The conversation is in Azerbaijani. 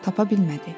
Tapa bilmədi.